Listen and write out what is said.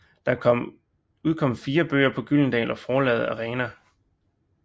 Der er udkommet fire bøger på Gyldendal og Forlaget Arena